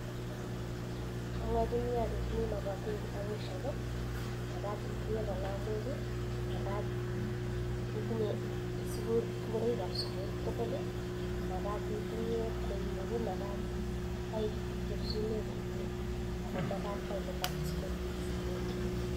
Amwachinii alechinii makatin kitabushiek makat itinye kalamok makat itinye ngoroik ab sukul tugul makat itinye kweinik makat kaichop sumek komie ako makat kailipan school fees tugul